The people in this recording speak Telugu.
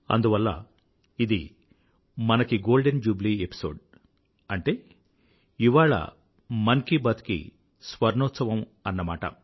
అందువల్ల ఇది మనకి గోల్డెన్ జూబ్లీ ఎపిసోడ్ అంటే ఇవాళ మన్ కీ బాత్ కి స్వర్ణోత్సవం అన్నమాట